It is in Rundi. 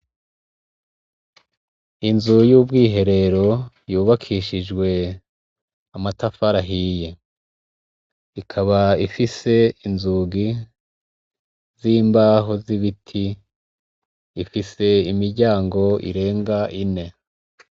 Inzu y' akazu kasugumwe y' ubakishijw' amatafar' ahiye, ikab' ifis' inzugi z' imbaho z' ibit, ikab' ifise n' inzugi zirenga zine. hejur' ifis' igisenge c' amabati gifatanye n' ivyuma.